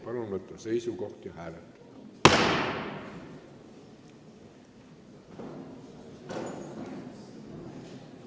Palun võtta seisukoht ja hääletada!